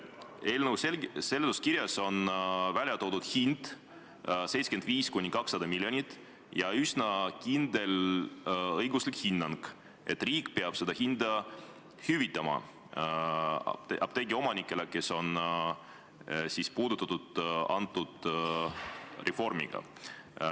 Eelnõu seletuskirjas on välja toodud hind 75–200 miljonit ja esitatud üsna kindel õiguslik hinnang, et riik peab selle hinna apteegiomanikele, keda see reform puudutab, hüvitama.